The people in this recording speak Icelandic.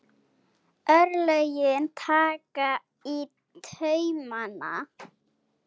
Örlögin taka í taumana